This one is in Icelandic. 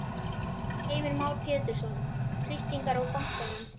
Heimir Már Pétursson: Þrýstingur á bankann?